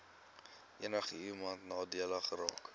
enigiemand nadelig geraak